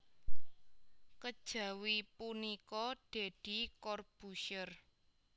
Kejawi punika Deddy Corbuzier